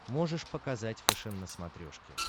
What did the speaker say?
можешь показать фэшен на смотрешке